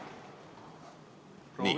Proovige nüüd!